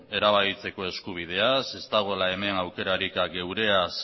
erabakitzeko eskubidea ez dagoela hemen aukerarik geureaz